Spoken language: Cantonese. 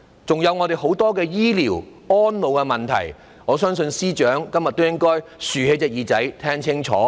還有很多醫療和安老的問題，我相信司長今天會留心聽清楚。